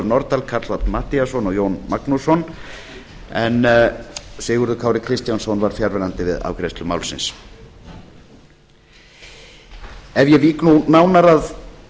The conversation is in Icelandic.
nordal karl fimmti matthíasson og jón magnússon en sigurður kári kristjánsson var fjarverandi við afgreiðslu málsins ef ég vík nú nánar að